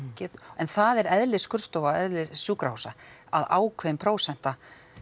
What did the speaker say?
en það er eðli skurðstofa og eðli sjúkrahúsa að ákveðin prósenta